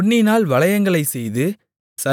பொன்னினால் வளையங்களைச்செய்து